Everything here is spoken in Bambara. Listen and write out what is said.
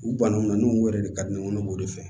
U bannunw na n'u yɛrɛ de ka di ne ye ŋɔnɔ k'o de fɛ